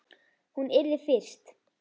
Hún yrði fyrst.